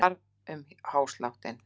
Það var um hásláttinn.